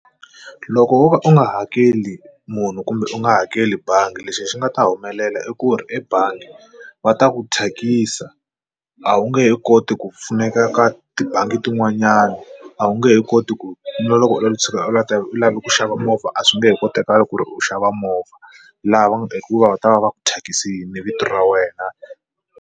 Loko wo ka u nga hakeli munhu kumbe u nga hakeli bangi lexi hi xi nga ta humelela i ku ri ebangi va ta ku thyakisa a wu nge he koti ku pfuneka ka ti bangi tin'wanyana a wu nge he koti ku na loko u tshuka u lata u lava ku xava movha a swi nge he kotakali ku ri u xava movha lava hikuva va ta va va ku thyakisile vito ra wena.